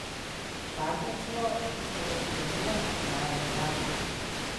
Partnerstvo, ki sta ga sklenila, traja še danes!